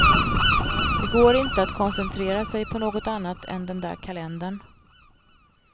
Det går inte att koncentrera sig på något annat än den där kalendern.